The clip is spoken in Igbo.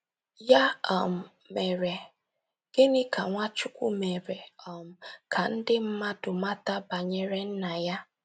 Ya um mere, gịnị ka Nwachukwu mere um ka ndị mmadụ mata banyere Nna ya?